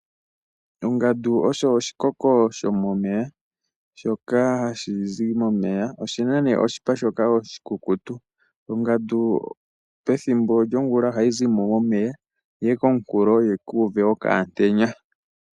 Ongandu osho oshikoko shomomeya, shoka hashi zi momeya. Oshina oshipa shoka oshikukutu. Ongandu pethimbo lyongula ohayi zi momeya yi ye komunkulo yiku uve okaantenya.